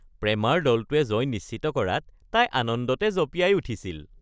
প্ৰেমাৰ দলটোৱে জয় নিশ্চিত কৰাত তাই আনন্দতে জঁপিয়াই উঠিছিল